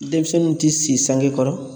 Denmisɛnninw ti si sange kɔrɔ